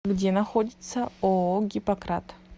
где находится ооо гиппократ